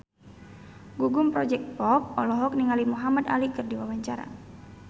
Gugum Project Pop olohok ningali Muhamad Ali keur diwawancara